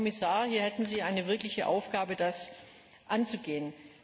Herr Kommissar, hier hätten Sie eine wirkliche Aufgabe, das anzugehen!